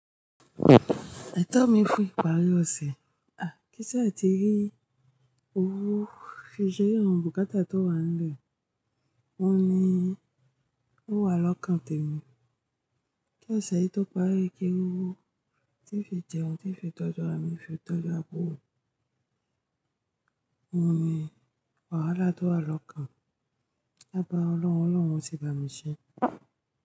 Ẹ̀tọ́ mi fún ìparí ọ̀sẹ̀. À, kí n ṣa ti rí owó fìse ninu bùkátà tó wà nílẹ̀? Wọ́n ni, ó wà lọ́kàn tèmi. Kí ẹ ṣeyi tó parí kí ri owó tí n fi jẹun tí n fi tọ́jú ara mi fi tọ́jú aburo? Wọ́n ni, wàhálà tó wà lọ́kàn. Mo toro lowo ọlọ́run yoo sì ba'mi ṣé.